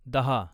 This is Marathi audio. दहा